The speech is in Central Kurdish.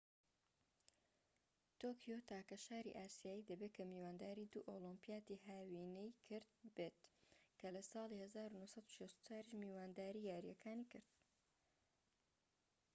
تۆکیۆ تاکە شاری ئاسیایی دەبێت کە میوانداری دوو ئۆلیمپیاتی هاوینەی کرد بێت کە لە ساڵی 1964یش میوانداری یاریەکانی کرد